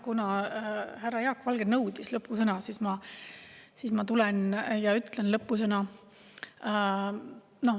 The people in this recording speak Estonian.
Kuna härra Jaak Valge nõudis lõppsõna, siis ma tulen ja ütlen lõppsõna.